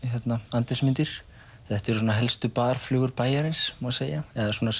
andlitsmyndir þetta eru svona helstu bæjarins má segja eða svona